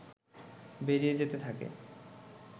বেরিয়ে যেতে থাকে